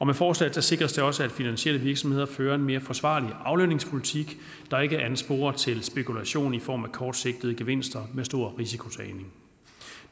med forslaget sikres det også at finansielle virksomheder fører en mere forsvarlig aflønningspolitik der ikke ansporer til spekulation i form af kortsigtede gevinster med stor risikotagning